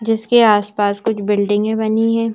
जिसके आसपास कुछ बिल्डिंगे बनी है।